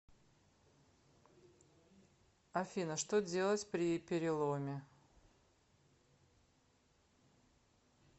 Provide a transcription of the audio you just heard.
афина что делать при переломе